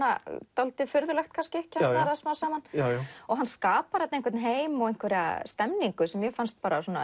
dálítið furðulegt kemst maður að smám saman hann skapar heim og stemningu sem mér fannst